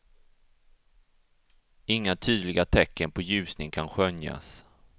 Inga tydliga tecken på ljusning kan skönjas.